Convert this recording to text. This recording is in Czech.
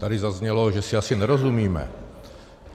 Tady zaznělo, že si asi nerozumíme.